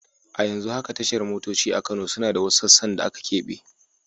A yanzu haka tashar motoci a Kano suna da wasu sassan da aka keɓe.